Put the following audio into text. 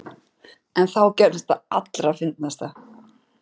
En þá gerðist það allra fyndnasta.